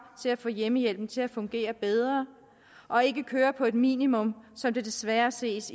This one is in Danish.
til at få hjemmehjælpen til at fungere bedre og ikke køre på et minimum som det desværre ses